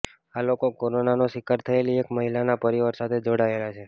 આ લોકો કોરોનાનો શિકાર થયેલી એક મહિલાના પરિવાર સાથે જોડાયેલા છે